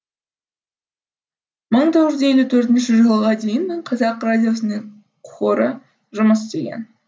мың тоғыз жүз елу төртінші жылға дейін қазақ радиосының хоры жұмыс істеген